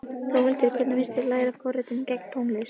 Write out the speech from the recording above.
Þórhildur: Hvernig finnst þér að læra forritun í gegnum tónlist?